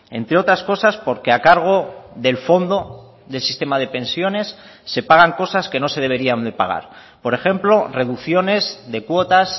entre otras cosas porque a cargo del fondo del sistema de pensiones se pagan cosas que no se deberían de pagar por ejemplo reducciones de cuotas